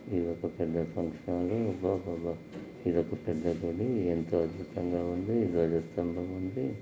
ఇదొక పెద్ద function hall ఇది ఎంతో అద్భుతంగా ఉంది . పెద్ద గజ స్తంబం ఉంది.